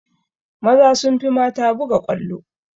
Maza sun fi mata buga ƙwallo